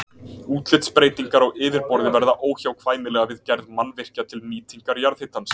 Útlitsbreytingar á yfirborði verða óhjákvæmilega við gerð mannvirkja til nýtingar jarðhitans.